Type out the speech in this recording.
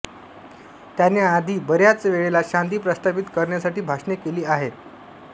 त्याने आधी बऱ्याच वेळेला शांती प्रास्तापित करण्या साठी भाषणे केली आहेत